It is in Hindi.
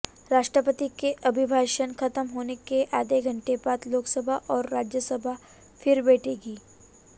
राष्ट्रपति के अभिभाषण खत्म होने के आधे घंटे बाद लोकसभा और राज्यसभा फिर बैठेगी